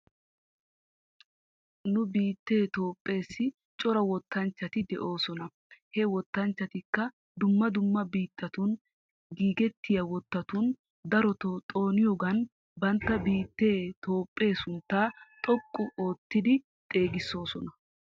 Nu biitee toophpheesi cora wottanchchati de'oosona he wottanchchatikka dumma dumma biitatun giigettiyaa wottatun daroto xooniyoogan bantta biittee toophphee sunttaa xoqqu oottidi xeegisoosona.